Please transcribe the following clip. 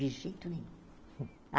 De jeito nenhum.